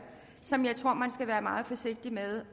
så jeg tror man skal være meget forsigtig med